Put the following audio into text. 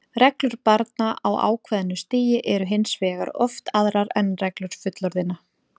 Reglur barna á ákveðnu stigi eru hins vegar oft aðrar en reglur fullorðinna.